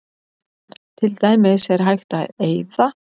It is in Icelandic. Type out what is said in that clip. Til dæmis er hægt að eyða